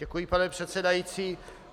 Děkuji, pane předsedající.